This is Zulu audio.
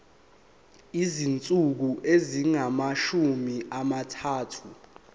izinsuku ezingamashumi amathathu